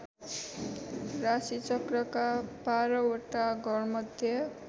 राशिचक्रका बाह्रवटा घरमध्ये